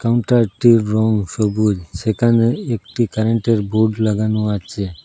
এবং টায়ারটির রং সবুজ সেখানে একটি কারেন্টের বোর্ড লাগানো আছে।